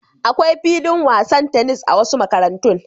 Akwai filin wasan tenis a wasu makarantun.